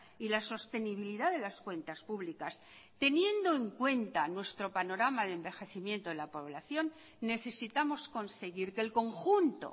y la sostenibilidad de las cuentas públicas teniendo en cuenta nuestro panorama de envejecimiento de la población necesitamos conseguir que el conjunto